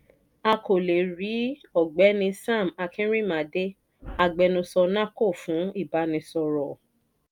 a kò lè è rí ọ̀gbẹ́ni sam akinrinmade agbẹnusọ nahco fún ìbánisọ̀rọ̀ ọ́.